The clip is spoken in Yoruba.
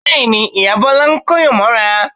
Bẹ́ẹ̀ ni, ìyá Bọ́lá ń kóyàn mọ́ra